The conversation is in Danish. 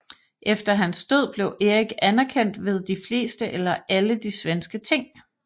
Efter hans død blev Erik anerkendt ved de fleste eller alle de svenske ting